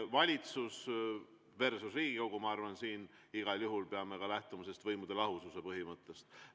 Valitsus versus Riigikogu – ma arvan, et siin igal juhul peame lähtuma võimude lahususe põhimõttest.